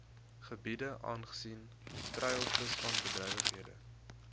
gebiede aangesien treilvisvangbedrywighede